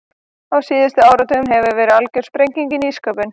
Á síðustu áratugum hefur verið algjör sprenging í nýsköpun.